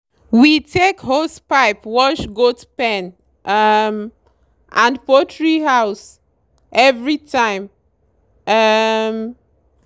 we take hosepipe wash goat pen um and poultry house every time. um